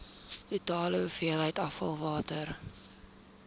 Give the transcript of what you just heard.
totale hoeveelheid afvalwater